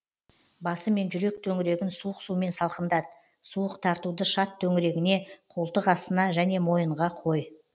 басы мен жүрек төңірегін суық сумен салқындат суық тартуды шат төңірегіне қолтық астына және мойынға қой